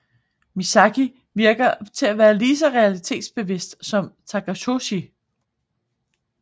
Misaki virker til at være lige så realitetsbevidst som Takatoshi